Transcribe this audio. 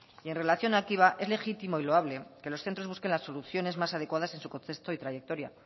y en relación activa es legítimo y loable que los centros busquen las soluciones más adecuadas en su contexto y trayectoria